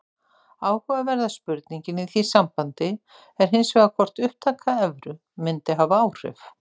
Áhugaverða spurningin í því sambandi er hins vegar hvort upptaka evru mundi hafa áhrif.